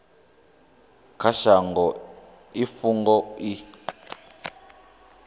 kha shango i fhungo i